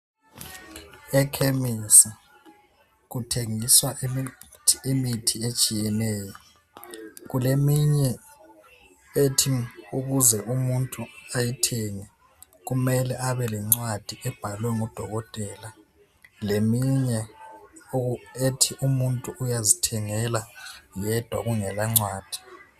Ekhemisi kuthengiswa imithi etshiyeneyo, kuleminye ethi ukuze umuntu ayithenge kumele Abe lencwadi ebhalwe ngudokotela. Leminye ethi umuntu uyazithengela yedwa kungela ncwadi.